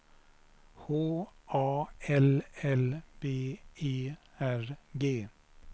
H A L L B E R G